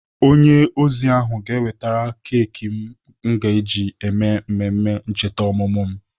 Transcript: Onye ozi ahụ ga-ewetere keki m ga-eji eme mmemme ncheta ọmụmụ m.